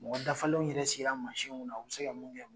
Mɔgɔ dafalenw yɛrɛ sigila masin min kunna u be se ka mun kɛ